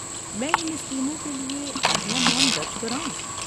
میں ان اسکیموں کے لیے اپنا نام درج کراؤں؟